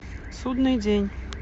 судный день